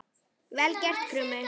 Vel gert, Krummi!